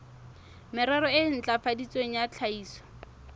merero e ntlafaditsweng ya tlhahiso